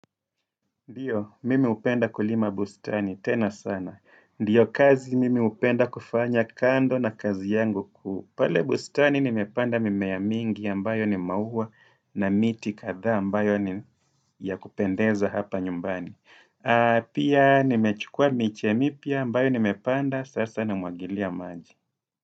Ndiyo, mimi hupenda kulima bustani. Tena sana. Ndiyo kazi mimi hupenda kufanya kando na kazi yangu kuhu. Pale bustani nimepanda mimea mingi ambayo ni maua na miti kadhaa ambayo ni ya kupendeza hapa nyumbani. Pia nimechukua miche mipya ambayo nimepanda. Sasa namwagilia maji.